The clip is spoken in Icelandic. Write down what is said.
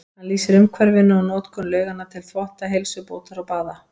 Hann lýsir umhverfinu og notkun lauganna til þvotta, heilsubótar og baða.